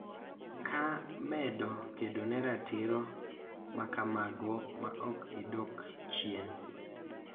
Ka medo kedo ne ratiro makamago ma ok gidok chien.